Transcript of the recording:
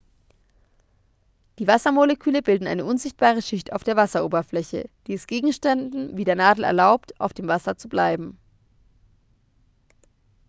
die wassermoleküle bilden eine unsichtbare schicht auf der wasseroberfläche die es gegenständen wie der nadel erlaubt auf dem wasser zu treiben